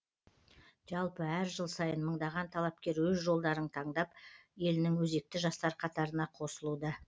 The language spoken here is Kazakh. жалпы әр жыл сайын мыңдаған талапкер өз жолдарын таңдап елінің өзекті жастар қатарына қосылуда